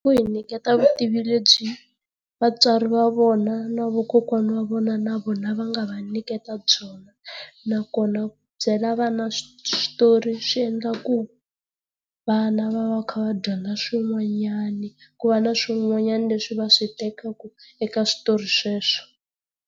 Ku hi nyiketa vutivi lebyi vatswari va vona na vakokwana va vona na vona va nga va nyiketa byona, nakona byela swi switori swi endla ku vana va va va kha va dyondza swin'wanyana, ku va na swin'wanyana leswi va swi tekaka eka switori sweswo.